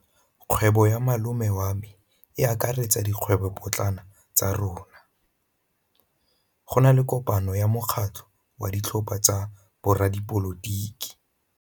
Kgwêbô ya malome wa me e akaretsa dikgwêbôpotlana tsa rona. Go na le kopanô ya mokgatlhô wa ditlhopha tsa boradipolotiki.